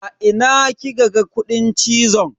A ina kika ga kudin cizon?